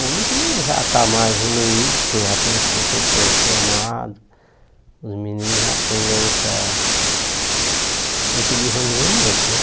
Hoje já está mais evoluído, porque já tem os professores formados, os meninos já tem outra outro desenvolvimento, né?